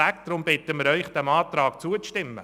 Deshalb bitten wir Sie, dem Antrag zuzustimmen.